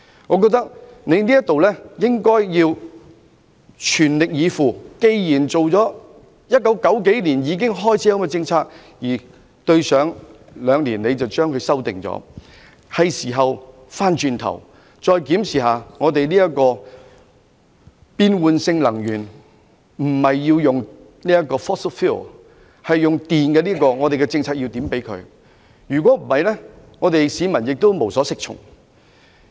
我認為政府應該全力以赴，既然有關政策在1990年代已經開始實施，只是在兩年前作了修改，所以現在是時候重新檢視能源政策，放棄使用 fossil fuel 並改用電力，研究如何配合有關的政策，否則市民會無所適從。